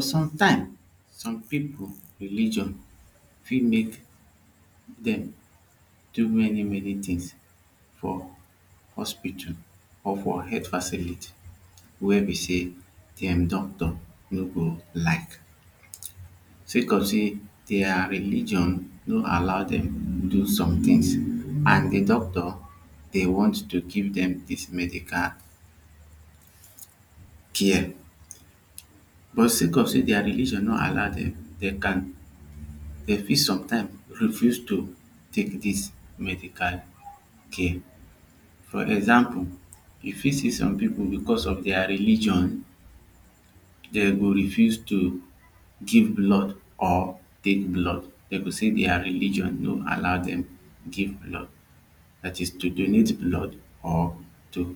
Some people religion fit make them do many many things for hospital or for health facility wey be say the doctor no go like say cause say their religion no allow dem do some things and the doctor dey want to give them this medical care but say cause say their religion no allow demdey can dey fit some time refuse to take this medical care for example you fit see some people because of their religion they go refuse to give blood or take blood. Dem go say dia religion no allow dem tek blood that is to donate blood blood or to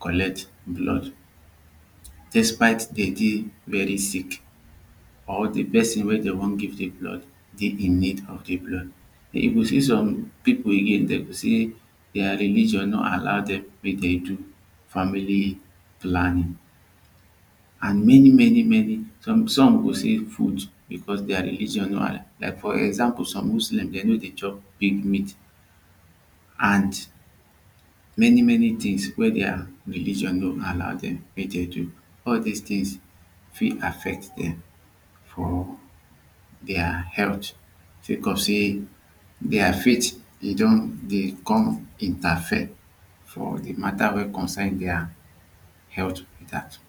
collect blood despite demdey very sick or the person weydey wan give the blood dey in need of the blood then you go see some people again dem say their religion no allow them make dem do family planning and many manymany some go say foot because their religion no allow like for example some Christians dem no dey chop big meat and many many things wey their religion no allow dem make dem do all dos things affect dem or dia health sake of sey their faith e don dey come interfere for the matter wey concern their health matter